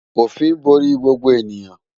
Òfin borí gbogbo ènìyàn